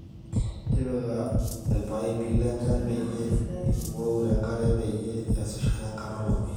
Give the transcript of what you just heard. tipika ilpaipi lenchan peyie iwuou enkare peyie iasishore enkata olameyu